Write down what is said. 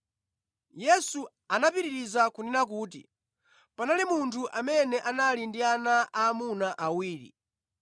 Yesu anapitiriza kunena kuti, “Panali munthu amene anali ndi ana aamuna awiri.